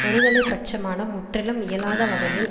ஒருதலை பட்சமான முற்றிலும் இயலாத வகையில்